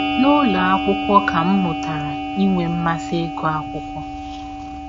“ N’ụlọ akwụkwọ ka m m mụtara inwe mmasị ịgụ akwụkwọ.